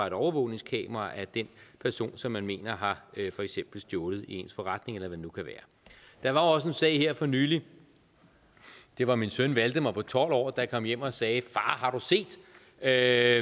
et overvågningskameraer af den person som man mener har for eksempel stjålet i ens forretning eller hvad det nu kan være der var også en sag her for nylig det var min søn valdemar på tolv år der kom hjem og sagde far har du set at